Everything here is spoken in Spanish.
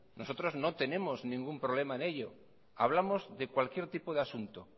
nosotros no tenemos ningún problema en ello hablamos de cualquier tipo de asunto